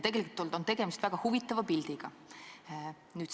Tegemist on väga huvitava pildiga.